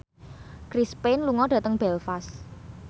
Chris Pane lunga dhateng Belfast